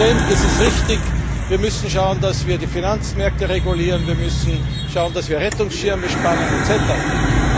Herr Präsident, es ist richtig Wir müssen schauen, dass wir die Finanzmärkte regulieren, wir müssen schauen, dass wir Rettungsschirme spannen usw.